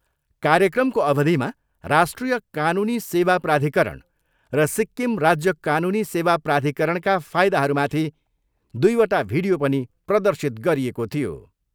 कार्यक्रमको अवधिमा राष्ट्रिय कानुनी सेवा प्राधिकरण र सिक्किम राज्य कानुनी सेवा प्राधिकरणका फायदाहरूमाथि दुईवटा भिडियो पनि प्रदर्शित गरिएको थियो।